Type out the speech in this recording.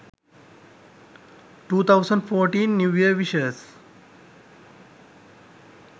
2014 new year wishes